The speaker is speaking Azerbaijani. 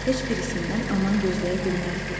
Heç birisindən aman gözləyə bilməzdi.